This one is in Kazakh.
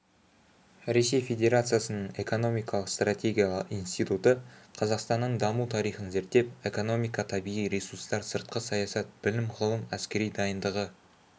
ресей федерациясының экономикалық стратегиялар институтықазақстанның даму тариіын зерттеп экономика табиғи ресурстар сыртқы саясат білім-ғылым әскери дайындығы